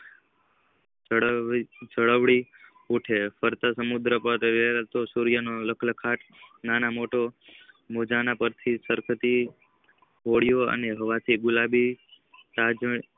જાલ્વિઉઠે છે પડ઼તાલ સમુદ્રની સૂર્ય વહી લાખ લખાર નાના મોટા મોજાઓ પાર થી સરફળી હોળીઓ અને હવા થી ગુલાલ